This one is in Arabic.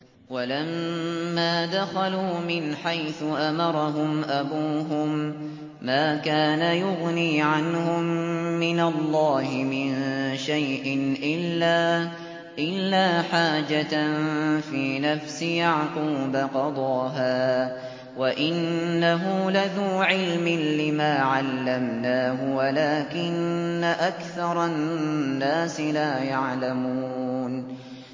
وَلَمَّا دَخَلُوا مِنْ حَيْثُ أَمَرَهُمْ أَبُوهُم مَّا كَانَ يُغْنِي عَنْهُم مِّنَ اللَّهِ مِن شَيْءٍ إِلَّا حَاجَةً فِي نَفْسِ يَعْقُوبَ قَضَاهَا ۚ وَإِنَّهُ لَذُو عِلْمٍ لِّمَا عَلَّمْنَاهُ وَلَٰكِنَّ أَكْثَرَ النَّاسِ لَا يَعْلَمُونَ